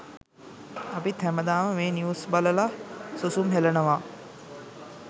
අපිත් හැමදාම මේ නිව්ස් බලල සුසුම් හෙලනවා.